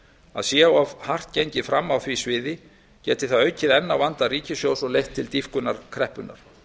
að sé of hart gengið fram á því sviði geti það aukið enn á vanda ríkissjóðs og leitt til dýpkunar kreppunnar